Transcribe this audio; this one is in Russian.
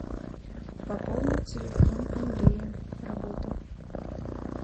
пополнить телефон андрея работа